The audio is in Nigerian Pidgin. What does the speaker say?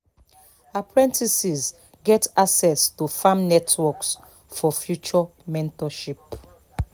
apprentices get access to farm networks for future mentorship